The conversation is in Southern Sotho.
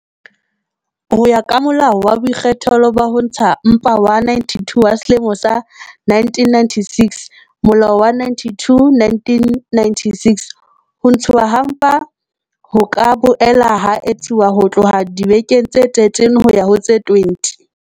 Ho ya ka Molao wa Boikgethelo ba Ho Ntsha Mpa wa 92 wa selemo sa 1996, Molao wa 92 wa 1996, ho ntshuwa ha mpa ho ka boela ha etsuwa ho tloha dibekeng tse 13 ho ya ho tse 20